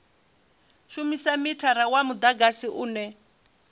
shumisa mithara wa mudagasi une